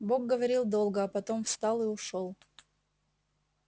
бог говорил долго а потом встал и ушёл